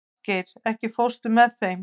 Arngeir, ekki fórstu með þeim?